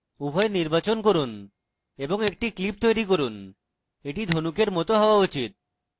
উভয় নির্বাচন করুন এবং একটি clip তৈরী করুন এটি ধনুকের it হওয়া উচিত